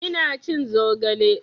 Ina cin zogale